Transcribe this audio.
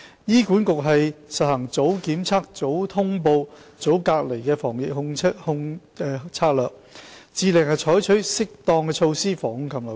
醫管局實行"早檢測、早通報、早隔離"的防控策略，致力採取適當措施防控禽流感。